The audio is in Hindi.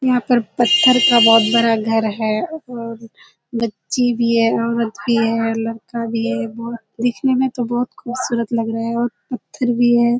यहाँ पर पत्‍थर का बहुत बड़ा घर है और बच्‍ची भी है औरत भी है लड़का भी है। बहुत देखने में तो बहुत खूबसूरत लग रहा है और पत्‍थर भी है।